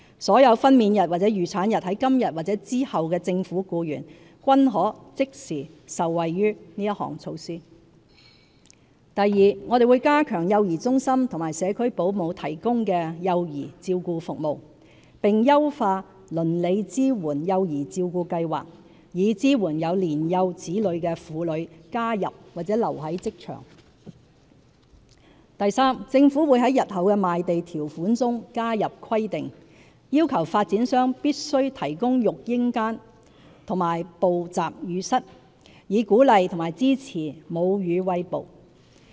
所有分娩日或預產日在今日或之後的政府僱員，均可即時受惠於這項措施； 2我們會加強幼兒中心和社區保姆提供幼兒照顧服務，並優化"鄰里支援幼兒照顧計劃"，以支援有年幼子女的婦女加入或留在職場； 3政府會在日後的賣地條款中加入規定，要求發展商必須提供育嬰間和哺集乳室，以鼓勵和支援母乳餵哺。